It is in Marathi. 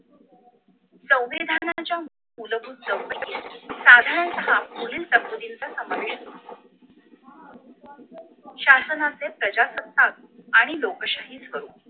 संविधानाच्या मूलभूत चौकटी साधारणतः पुढील तरतुदीचा समावेश शासनाचे प्रजासत्ताक आणि लोकशाहीसह